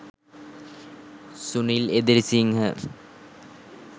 sunil edirisinghe